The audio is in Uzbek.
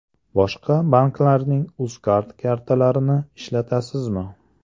Boshqa banklarning UzCard kartalarini ishlatasizmi?